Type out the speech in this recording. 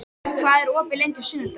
Vök, hvað er opið lengi á sunnudaginn?